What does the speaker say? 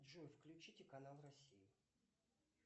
джой включите канал россия